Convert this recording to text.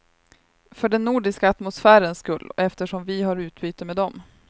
För den nordiska atmosfärens skull, och eftersom vi har utbyte med dem.